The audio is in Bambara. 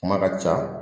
Kuma ka ca